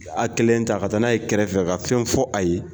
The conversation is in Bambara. U y'a kelen ta ka taa n'a ye kɛrɛfɛ ka fɛn fɔ a ye.